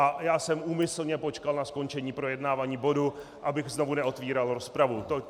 A já jsem úmyslně počkal na skončení projednávání bodu, abych znovu neotvíral rozpravu.